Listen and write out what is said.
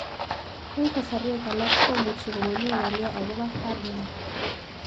Eng' kasarwek alak komuchi komami ng'olyo akopo Fuhrmann